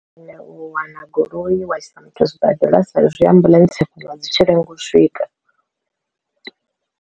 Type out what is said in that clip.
Nṋe u wana goloi wa isa muthu zwibadela sa zwi ambuḽentse dzivha dzi tshi lenga u swika.